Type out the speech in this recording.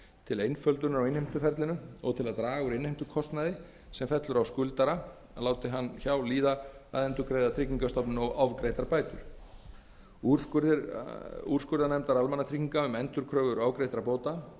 til einföldunar á innheimtuferlinu og til að draga úr innheimtukostnaði sem fellur á skuldara láti hann hjá líða að endurgreiða tryggingastofnun ofgreiddar bætur úrskurðir úrskurðarnefndar almannatrygginga um endurkröfur ofgreiddra bóta